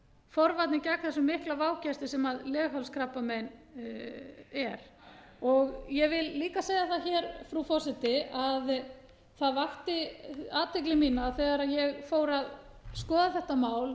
enn frekar forvarnir gegn þessum mikla vágesti sem leghálskrabbamein er ég vil líka segja það hér frú forseti að það vakti athygli mína þegar ég fór að skoða þetta mál